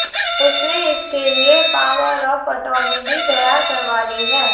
उसने इसके लिए पावर ऑफ अटॉर्नी भी तैयार करवा ली है